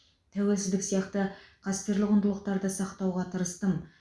тәуелсіздік сияқты қастерлі құндылықтарды сақтауға тырыстым